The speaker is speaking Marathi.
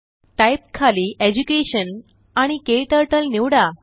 टाइप खाली एज्युकेशन आणि क्टर्टल निवडा